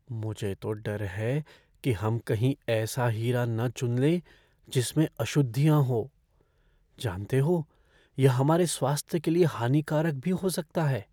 मुझे तो डर है कि हम कहीं ऐसा हीरा न चुन लें जिसमें अशुद्धियाँ हो। जानते हो, यह हमारे स्वास्थ्य के लिए हानिकारक भी हो सकता है।